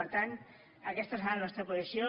per tant aquesta serà la nostra posició